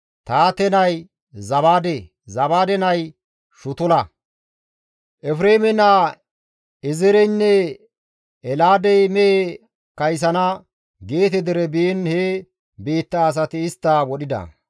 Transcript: Tahaate nay Zabaade; Zabaade nay Shutula. Efreeme naa Ezeereynne Elaadey mehe kaysana Geete dere biin he biitta asati istta wodhida.